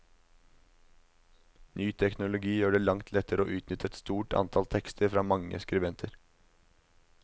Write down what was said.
Ny teknologi gjør det langt lettere å utnytte et stort antall tekster fra mange skribenter.